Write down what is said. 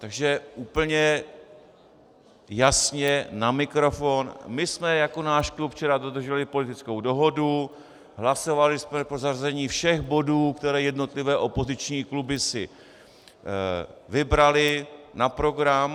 Takže úplně jasně na mikrofon: My jsme jako náš klub včera dodrželi politickou dohodu, hlasovali jsme pro zařazení všech bodů, které jednotlivé opoziční kluby si vybraly na program.